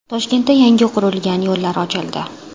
Toshkentda yangi qurilgan yo‘llar ochildi .